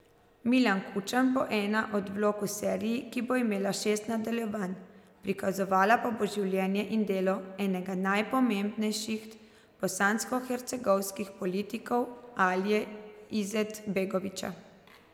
Milan Kučan bo ena od vlog v seriji, ki bo imela šest nadaljevanj, prikazovala pa bo življenje in delo enega najpomembnejših bosanskohercegovskih politikov Alije Izetbegovića.